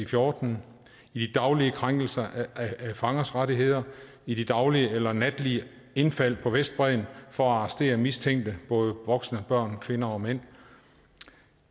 fjorten i daglige krænkelser af fangers rettigheder i de daglige eller natlige indfald på vestbredden for at arrestere mistænkte både voksne og børn kvinder og mænd